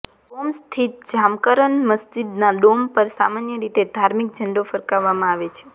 કોમ સ્થિત જામકરન મસ્જિદના ડોમ પર સામાન્ય રીતે ધાર્મિક ઝંડો ફરકાવવામાં આવે છે